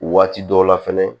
Waati dɔw la fɛnɛ